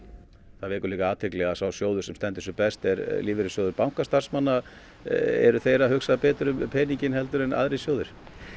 það vekur líka athygli að sá sjóður sem stendur sig best er lífeyrissjóður bankastarfsmanna eru þeir að hugsa betur um peninginn en aðrir sjóðir